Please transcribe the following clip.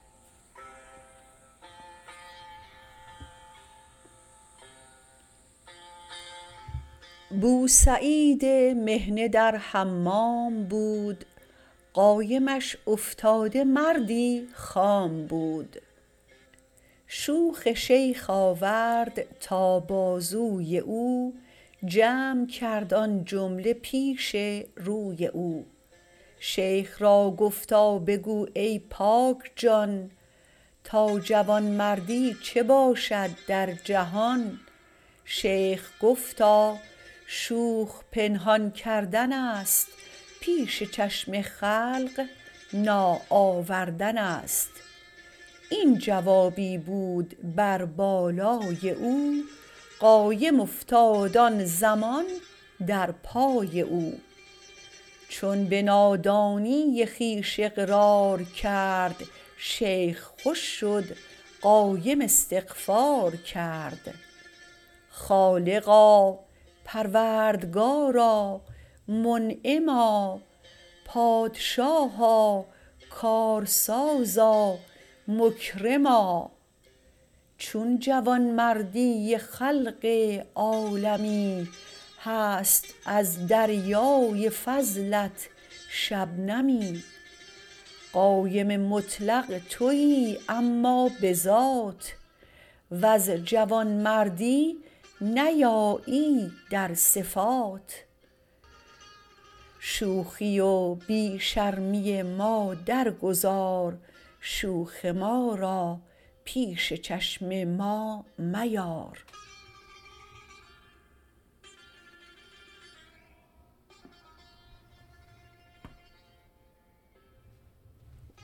بوسعید مهنه در حمام بود قایمش افتاده مردی خام بود شوخ شیخ آورد تا بازوی او جمع کرد آن جمله پیش روی او شیخ را گفتا بگو ای پاک جان تا جوان مردی چه باشد در جهان شیخ گفتا شوخ پنهان کردنست پیش چشم خلق ناآوردنست این جوابی بود بر بالای او قایم افتاد آن زمان در پای او چون به نادانی خویش اقرار کرد شیخ خوش شد قایم استغفار کرد خالقا پروردگارا منعما پادشاها کارسازا مکرما چون جوانمردی خلق عالمی هست از دریای فضلت شبنمی قایم مطلق تویی اما به ذات وز جوان مردی ببایی در صفات شوخی و بی شرمی ما در گذار شوخ ما را پیش چشم ما میار